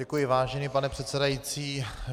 Děkuji, vážený pane předsedající.